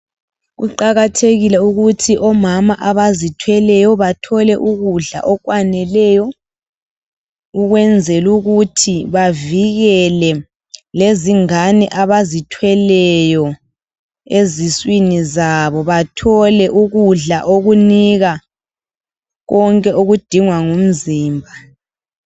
Kuqakathekile ukuthi omama abazithweleyo bathole ukudla okwaneleyo ukwenzela ukuthi bavikele lezingane abazithweleyo eziswini zabo bathole ukudla okunika konke okudingwa ngumzimba.